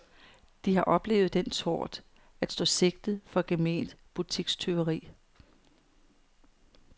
De har oplevet den tort at stå sigtet for gement butikstyveri.